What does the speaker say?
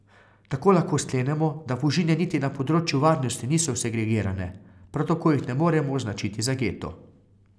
Tako lahko sklenemo, da Fužine niti na področju varnosti niso segregirane, prav tako jih ne moremo označiti za geto.